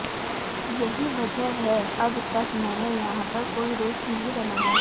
यही वजह है अब तक मैंने यहां पर कोई दोस्त नहीं बनाया